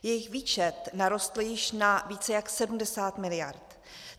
Jejich výčet narostl již na více jak 70 mld.